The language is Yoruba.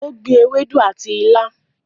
o gbìn Ewedu àti ila.